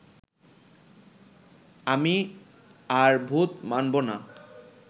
আমি আর ভূত মানবো না